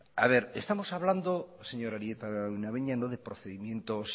estamos hablando señor arieta araunabeña no de procedimientos